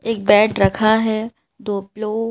एक बेड रखा है दो पिलो --